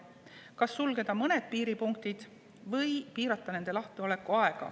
Kas sulgeda mõned piiripunktid või piirata nende lahtioleku aega?